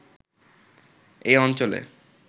এই অঞ্চলে